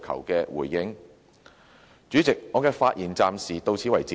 代理主席，我的發言暫時到此。